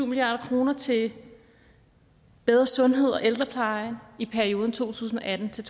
milliard kroner til bedre sundhed og ældrepleje i perioden to tusind og atten til